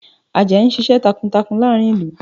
Àjàyí ń ṣiṣẹ́ takuntakun láàrin ìlú